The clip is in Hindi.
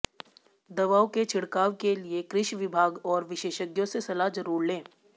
दवाओं के िछड़काव के िलए कृिष िवभाग और विशेषज्ञों से सलाह जरूर लें